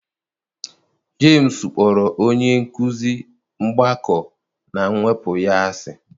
James kpọrọ onye nkụzi mgbakọ na mwepụ ya asị.